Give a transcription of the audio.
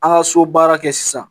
An ka so baara kɛ sisan